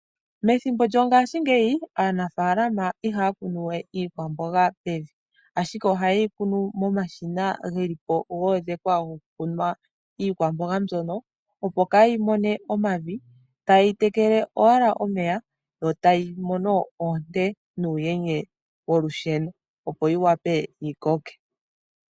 Methimbo lyongashingeyi aanafaalama ihaya kunu we iikwamboga mevi, ashike ohaye yi kunu momashina geli po goodhekwa gokukunwa iikwamboga mbyono opo kayi mone omavi taye yi tekele owala omeya yo tayimono oonte nuuyenye wolusheno yo yi wape yikoke.